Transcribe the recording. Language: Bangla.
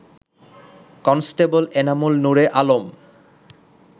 কনস্টেবল এনামুল নূরে আলম